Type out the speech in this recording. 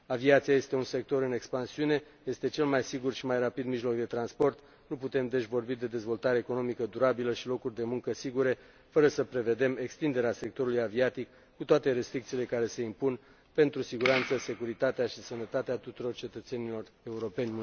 Aviația este un sector în expansiune, este cel mai sigur și mai rapid mijloc de transport, nu putem, deci, vorbi de dezvoltare economică durabilă și locuri de muncă sigure fără să prevedem extinderea sectorului aviatic cu toate restricțiile care se impun pentru siguranța, securitatea și sănătatea tuturor cetățenilor europeni.